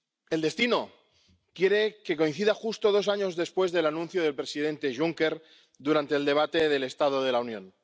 El destino quiere que coincida justo dos años después del anuncio del presidente Juncker durante el debate del estado de la Unión.